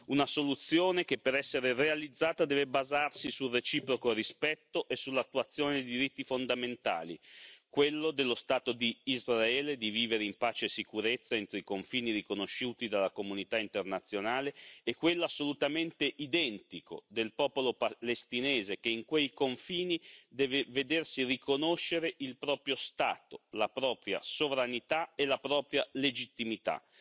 Una soluzione che per essere realizzata deve basarsi sul reciproco rispetto e sull'attuazione dei diritti fondamentali quello dello Stato di Israele di vivere in pace e sicurezza entro i confini riconosciuti dalla comunità internazionale e quello, assolutamente identico, del popolo palestinese che in quei confini deve vedersi riconoscere il proprio Stato, la propria sovranità e la propria legittimità.